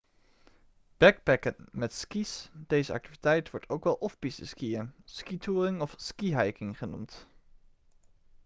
backpacken met ski's deze activiteit wordt ook wel off-piste skiën skitouring of skihiking genoemd